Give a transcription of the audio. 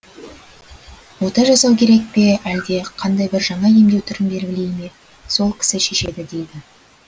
ота жасау керек пе әлде қандай бір жаңа емдеу түрін белгілей ме сол кісі шешеді дейді